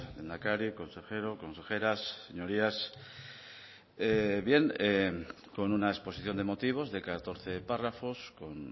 lehendakari consejeros consejeras señorías con una exposición de motivos de catorce párrafos con